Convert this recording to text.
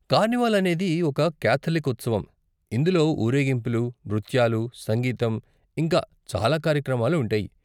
Carnival అనేది ఒక Catholic ఉత్సవం, ఇందులో ఊరేగింపులు, నృత్యాలు, సంగీతం, ఇంకా చాలా కార్యక్రమాలు ఉంటాయి.